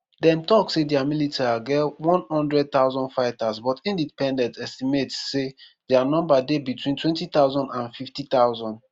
dem tok say dia militia get 100000 fighters but independent estimates say dia number dey between 20000 and 50000.